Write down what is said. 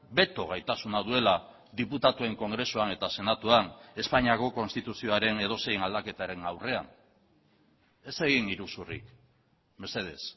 beto gaitasuna duela diputatuen kongresuan eta senatuan espainiako konstituzioaren edozein aldaketaren aurrean ez egin iruzurrik mesedez